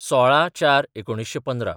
१६/०४/१९१५